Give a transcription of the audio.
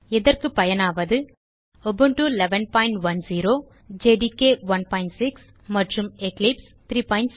இதற்கு பயனாவது Ubuntu 1110 JDK 16 மற்றும் எக்லிப்ஸ் 37